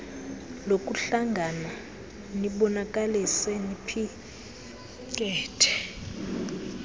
lokuhlangana nibonakalise niphikethe